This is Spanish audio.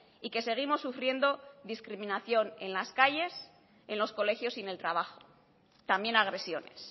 y que seguimos sufriendo discriminación en las calles en los colegios y en el trabajo también agresiones